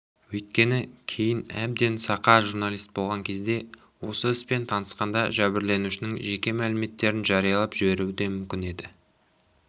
өйткені кейін әбден сақа журналист болған кезде осы іспен танысқанда жәбірленушінің жеке мәліметтерін жариялап жіберуі де мүмкін еді